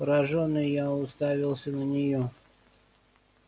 поражённый я уставился на нее